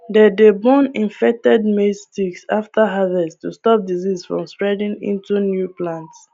they dey burn infected maize stalks after harvest to stop disease from spreading into new plants